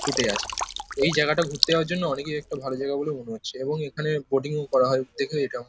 ফুটে আছে এই জায়গাটা ঘুরতে যাওয়ার জন্য অনেকেরই একটা ভালো জায়গা বলে মনে হচ্ছে এবং এখানে বোটিং করা হয় দেখে এটাও --